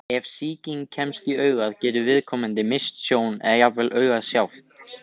Ef sýking kemst í augað getur viðkomandi misst sjón, eða jafnvel augað sjálft.